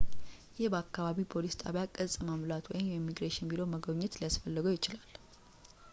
ይህ በአከባቢው ፖሊስ ጣቢያ ቅጽ መሙላት ወይም የኢሚግሬሽን ቢሮ መጎብኘት ሊያስፈልገው ይችላል